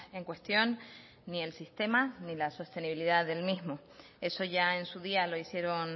en cuestión ni el sistema ni la sostenibilidad del mismo eso ya en su día lo hicieron